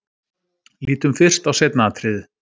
Lítum fyrst á seinna atriðið.